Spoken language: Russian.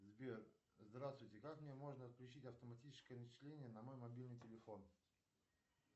сбер здравствуйте как мне можно отключить автоматическое начисление на мой мобильный телефон